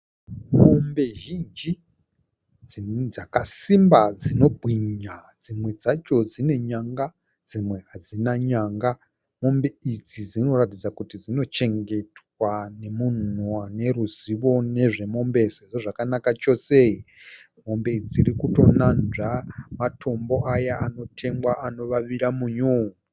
Mombe zhinji dzakasimba dzinobwinya, dzimwe dzacho dzine nyanga dzimwe hadzina nyanga. Mombe idzi dzinoratidza kuti dzino chengetwa nemunhu ane ruzivo nezvemombe sezvo dzakanaka chose. Mombe idzi dziri kutonatsva matombo aya anotengwa anovavira munyu.